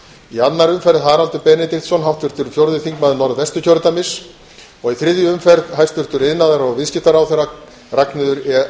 í annarri umferð haraldur benediktsson háttvirtur fjórði þingmaður norðvesturkjördæmis og í þriðju umferð hæstvirtur iðnaðar og viðskiptaráðherra ragnheiður e